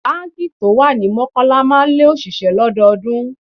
Báńkì tó wà ní Mọ́kọ́lá máa ń lé òṣìṣẹ́ lọ́dọọdún.